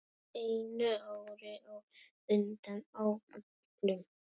Einu ári á undan áætlun.